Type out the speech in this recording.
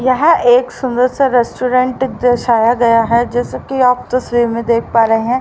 यहाँ एक सुंदर सा रेस्टोरेंट दर्शाया गया है जैसे कि आप तस्वीर में देख पा रहे हैं।